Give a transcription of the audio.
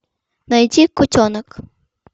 найти кутенок